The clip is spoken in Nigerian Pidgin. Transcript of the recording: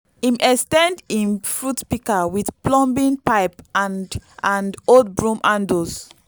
him ex ten d him fruit pika with plumbing pipe and and old broom handles